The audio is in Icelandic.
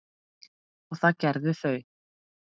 og það gerðu þau.